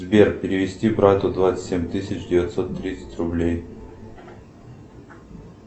сбер перевести брату двадцать семь тысяч девятьсот тридцать рублей